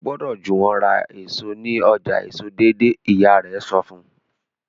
o gbódò Juwon rà èso ní ọjà èso deidei ìyá rè sọ fún